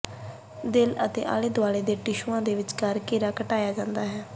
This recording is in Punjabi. ਦਿਲ ਅਤੇ ਆਲੇ ਦੁਆਲੇ ਦੀਆਂ ਟਿਸ਼ੂਆਂ ਦੇ ਵਿਚਕਾਰ ਘੇਰਾ ਘਟਾਇਆ ਜਾਂਦਾ ਹੈ